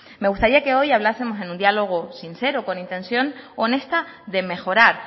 me gustaría que hoy hablásemos en un diálogo sincero con intención honesta de mejorar